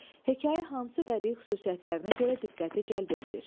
Hekayə hansı bədii xüsusiyyətlərinə görə diqqəti cəlb eləyir?